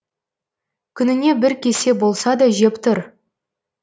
күніне бір кесе болса да жеп тұр